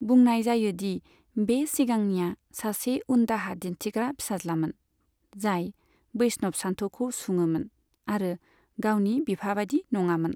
बुंनाय जायो दि बे सिगांनिया सासे उनदाहा दिन्थिग्रा फिसाज्लामोन, जाय बैष्णव सानथौखौ सुङोमोन, आरो गावनि बिफाबायदि नङामोन।